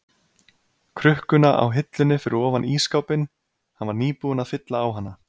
krukkuna á hillunni fyrir ofan ísskápinn, hann var nýbúinn að fylla á hana.